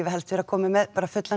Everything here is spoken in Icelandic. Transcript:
helst vera komin með bara fullan